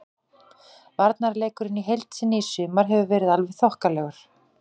Varnarleikurinn í heild sinni í sumar hefur verið alveg þokkalegur.